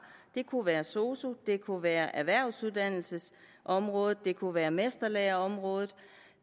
det kunne være sosu det kunne være erhvervsuddannelsesområdet det kunne være mesterlæreområdet